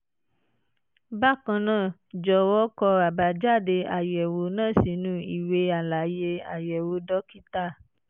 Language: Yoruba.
bákan náà jọ̀wọ́ kọ àbájáde àyẹ̀wò náà sínú ìwé àlàyé àyẹ̀wò dókítà